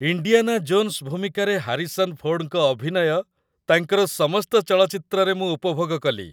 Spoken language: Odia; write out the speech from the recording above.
ଇଣ୍ଡିଆନା ଜୋନ୍ସ ଭୂମିକାରେ ହାରିସନ୍ ଫୋର୍ଡଙ୍କ ଅଭିନୟ ତାଙ୍କର ସମସ୍ତ ଚଳଚ୍ଚିତ୍ରରେ ମୁଁ ଉପଭୋଗ କଲି।